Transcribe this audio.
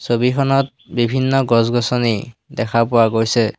ছবিখনত বিভিন্ন গছ-গছনি দেখা পোৱা গৈছে।